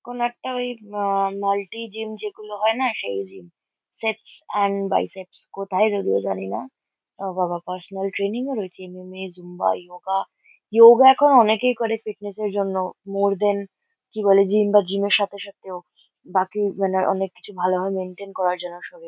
কোনো একটা ওই আ মাল্টি জিম যেগুলো হয় না সেই সেট্স অ্যান্ড বাই সেট্স কোথায় যদিও জানি না। ও বাবা! পার্সোনাল ট্রেনিং আর ঐ ট্রেনিং এ জুম্বা ইয়োগা ইয়োগা এখন অনেকেই করে ফিটনেস -এর জন্য। মোর দ্যান কি বলে জিম বা জিম -এর সাথে সাথেও বাকি মানে অনেক কিছু ভালোভাবে মেইনটেইন করার জন্য শরীর --